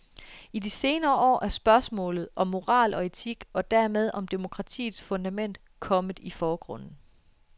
I de senere år er spørgsmål om moral og etik, og dermed om demokratiets fundament, kommet i forgrunden.